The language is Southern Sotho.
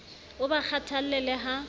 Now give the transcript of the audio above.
a ba kgathalle le ha